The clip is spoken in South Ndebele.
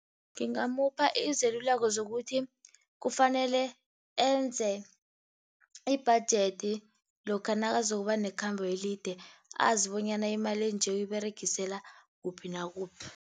Ngingamupha izeluleko zokuthi kufanele enze i-budget lokha nakazokuba nekhambo elide, azi bonyana imali enje uyiberegisela kuphi nakuphi.